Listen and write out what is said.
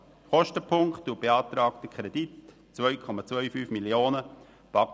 Kostenpunkt und beantragter Kredit: 2,25 Mio. Franken.